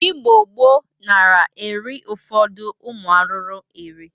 Igbo gboo nara eri ụfọdụ ụmụ arụrụ eri.